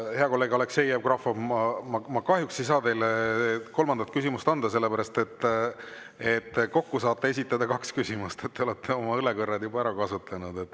Hea kolleeg Aleksei Jevgrafov, ma kahjuks ei saa teile kolmandat küsimust anda, sellepärast et kokku saab esitada kaks küsimust , te olete oma õlekõrred juba ära kasutanud.